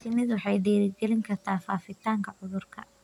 Shinnidu waxay dhiirigelin kartaa faafitaanka cudurka.